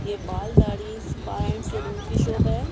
ये बाल दाढ़ी स्पा एंड सैलून की शॉप हैं।